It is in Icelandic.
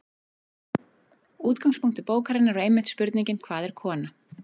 Útgangspunktur bókarinnar var einmitt spurningin Hvað er kona?